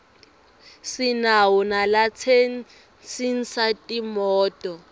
sinawo nalatsensisa timoto